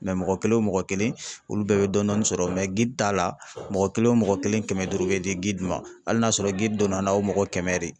mɔgɔ kelen o mɔgɔ kelen olu bɛɛ bɛ dɔɔnin dɔɔnin sɔrɔ ta la mɔgɔ kelen o mɔgɔ kelen kɛmɛ duuru bɛ di hali n'a y'a sɔrɔ donna n'aw mɔgɔ kɛmɛ